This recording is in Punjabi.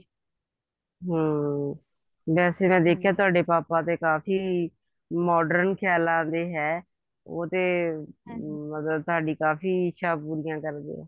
ਹਮ ਵੈਸੇ ਮੈਂ ਦੇਖਿਆ ਤੁਹਾਡੇ ਪਾਪਾ ਤਾਂ ਕਾਫੀ modern ਖਿਆਲਾਂ ਦੇ ਹੈ ਉਹ ਤੇ ਮਤਲਬ ਤੁਹਾਡੀ ਕਾਫੀ ਇੱਛਾ ਪੂਰੀਆਂ ਕਰਦੇ ਆ